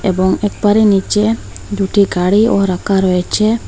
এবং একবারে নীচে দুটি গাড়িও রাকা রয়েচে।